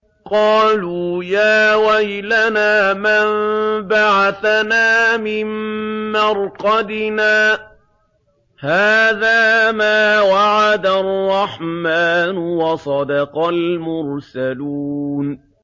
قَالُوا يَا وَيْلَنَا مَن بَعَثَنَا مِن مَّرْقَدِنَا ۜۗ هَٰذَا مَا وَعَدَ الرَّحْمَٰنُ وَصَدَقَ الْمُرْسَلُونَ